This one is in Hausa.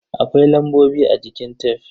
Akwai lambobi a jikin tef.